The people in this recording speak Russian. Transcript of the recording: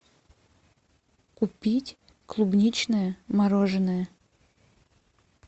купить клубничное мороженое